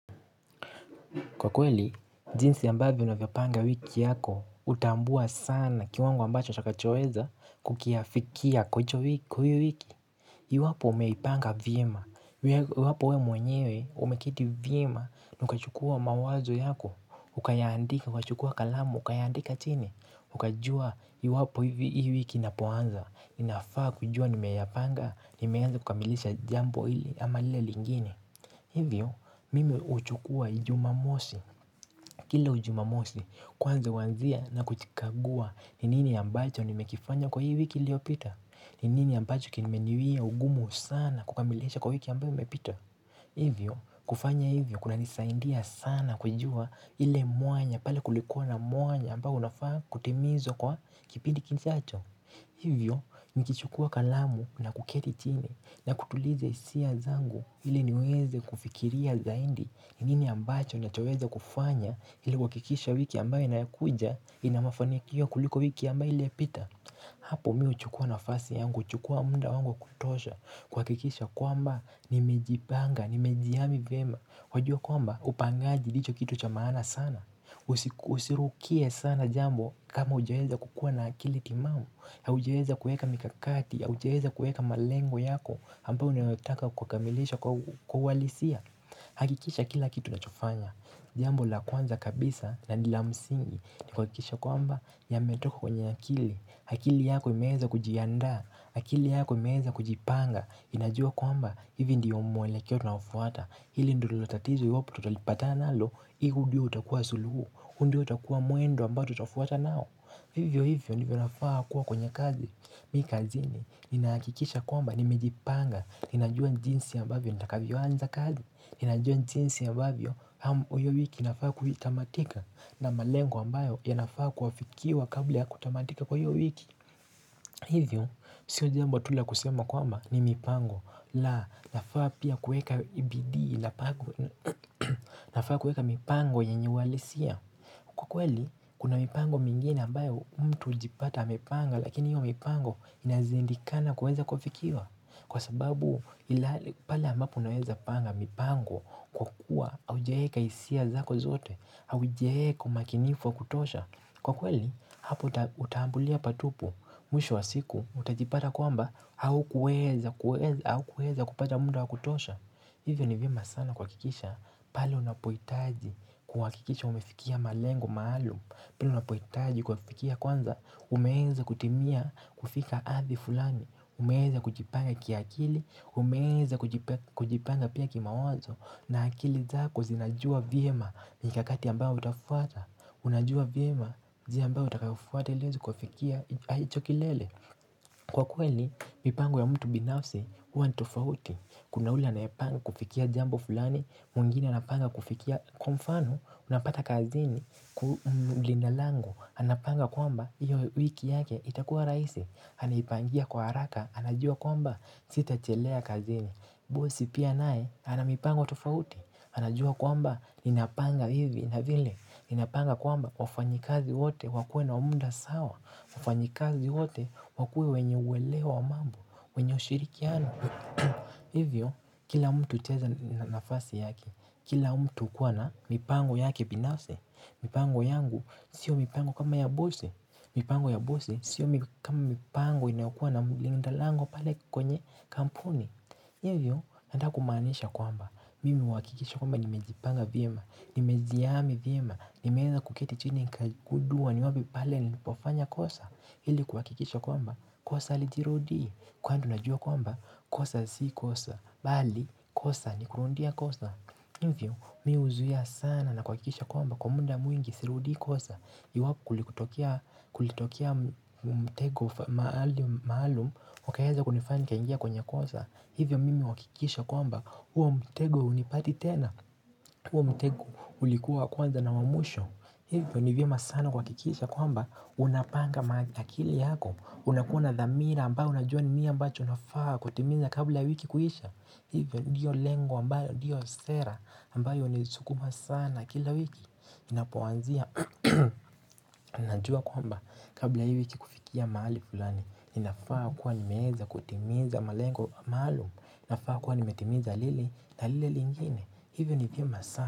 Kwa kweli, jinsi yambavyo unavyopanga wiki yako, utambua sana kiwango ambacho utakachoweza kukiafikia kwa hicho wiki kwa iyo wiki. Iwapo umeipanga vyema. Iwapo we mwenyewe umekiti viema. Na ukachukua mawazo yako. Ukachukua kalamu. Ukachukua kalamu. Ukayaandika chini. Ukajua iwapo hivi hii wiki inapoanza. Inafaa kujua nimeyapanga. Nimeenza kukamilisha jambo ili ama lile lingine. Hivyo, mimi huchukua jumamosi. Kila ujumamosi kwanza uwanzia na kuchikagua ni nini ambacho nimekifanya kwa hii wiki ilio pita ni nini ambacho kimeniwia ugumu sana kukamilisha kwa wiki ambayo imepita Hivyo kufanya hivyo kuna nisaindia sana kujua ile mwanya pale kulikuwa na mwanya ambayo nafaa kutimizwa kwa kipindi kijacho Hivyo, nikichukua kalamu na kuketi chini na kutuliza hisia zangu ili niweze kufikiria zaidi nini ambacho nachoweza kufanya ili kuwakikisha wiki ambayo inayokuja ina mafanikio kuliko wiki ambayo ili epita. Hapo mi huchukua nafasi yangu, huchukua muda wangu wa kutosha kuwakikisha kwamba nimejipanga, nimejiami vyema wajua kwamba upangaji ndicho kitu cha maana sana Usirukie sana jambo kama ujaweza kukua na akili timamu haujaweza kuweka mikakati, haujaweza kuweka malengo yako ambayo unayotaka kukamilisha kwa uhalisia hakikisha kila kitu nachofanya Jambo la kwanza kabisa na ni la msingi ni kuwakikisha kwamba yametoka kwenye akili akili yako imeeza kujiandaa akili yako imeeza kujipanga Inajua kwamba hivi ndiyo mwelekoe tunaofuata Hili ndilo tatizo iwapo tutalipata nalo ihu ndio utakuwa suluhu huu ndio utakua mwendo ambao tutafuata nao Hivyo hivyo ndivyo nafaa kuwa kwenye kazi Mi kazini Ninaakikisha kwamba nimejipanga ninajua jinsi ambavyo nitakavyo anza kazi najua jinsi ambavyo Uyo wiki inafaa kuhitamatika na malengo ambayo yanafaa kuwafikiwa kabla ya kutamatika kwa hiyo wiki. Hivyo, siyo jambo tu la kusema kwamba ni mipango. La, nafaa pia kuweka bidii, nafaa kuweka mipango yenye uwalisia. Kwa kweli, kuna mipango mingine ambayo mtu hujipata amepanga, lakini hiyo mipango inaziindikana kuweza kuwa fikiwa. Kwa sababu, ila pale ambapo naweza panga mipango kwa kuwa haujaeka hisia zako zote, haujaeka makinifu wa kutosha. Kwa kweli, hapo uta ambulia patupu, mwisho wa siku, utajipata kwamba, hau kuweza kupata muda wa kutosha Hivyo ni vyema sana kuwakikisha, pale unapoitaji kuwakikisha umefikia malengo maalum pale unapoitaji kuyafikia kwanza, umeenza kutimia kufika ardhi fulani Umeenza kujipanga kia akili, umeeza kujipanga pia kimawazo na akili zako zinajua vyema nikakati ambayo utafuata Unajua vyema njia ambayo utakayofuata ili uweze kuafikia hicho kilele Kwa kweli mipango ya mtu binafsi huwa ni tofauti Kuna ule anayepanga kufikia jambo fulani mwingine anapanga kufikia kwa mfano Unapata kazini ku mlinda lango Anapanga kwamba iyo wiki yake itakuwa raisi Anaipangia kwa haraka anajua kwamba sitachelea kazini bosi pia nae anamipango tofauti anajua kwamba ninapanga hivi na vile, ninapanga kwamba wafanyikazi wote wakue na munda sawa wafanyikazi wote wakue wenye uweleo wa mambo, wenye ushirikiano Hivyo, kila mtu itaeza nafasi yake Kila mtu kuwa na mipango yake binafsi mipango yangu, sio mipango kama ya bosi mipango ya bosi, sio mipango inakua na mlinda lango pale kwenye kampuni Hivyo, anda kumaanisha kwamba Mimi huwakikisha kwamba nimejipanga viema Nimejiami viema, nimeeza kuketi chini kugudua ni wapi pale nilipofanya kosa Hili kuwakikisha kwamba, kosa halijirudii Kwandu najua kwamba, kosa si kosa, bali kosa ni kurundia kosa Hivyo mi huzuia sana na kuwakikisha kwamba, kwa munda mwingi sirudii kosa Iwaku kulitokia mtego maalumu, wakaeza kunifanya nikaingia kwenye kosa Hivyo mimi wakikisha kwamba, huwo mtego hunipati tena huo mtego ulikuwa kwanza na wa mwisho Hivyo ni vyema sana kuwakikisha kwamba unapanga ma akili yako unakua na dhamira ambayo unajua ni niambacho unafaa kutimiza kabla wiki kuisha Hivyo ndiyo lengo ambayo ndiyo sera ambayo unisukuma sana kila wiki Inapowanzia, unajua kwamba kabla hii wiki kufikia maali fulani ninafaa kuwa ni meeza kutimiza malengo maalum ninafaa kuwa nimetimiza lili na lile lingine Hivyo ni viema sana.